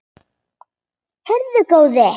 Heyrðu góði.